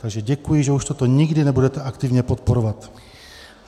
Takže děkuji, že už toto nikdy nebudete aktivně podporovat.